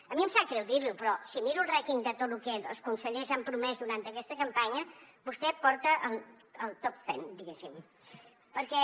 a mi em sap greu dir ho però si miro el rànquing de tot lo que els consellers han promès durant aquesta campanya vostè porta el top ten diguéssim perquè